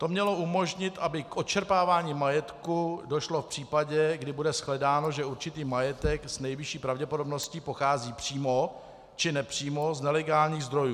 To mělo umožnit, aby k odčerpávání majetku došlo v případě, kdy bude shledáno, že určitý majetek s nejvyšší pravděpodobností pochází přímo či nepřímo z nelegálních zdrojů.